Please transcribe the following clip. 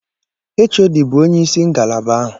HOD bụ onye isi ngalaba ahụ.